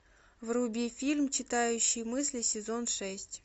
вруби фильм читающий мысли сезон шесть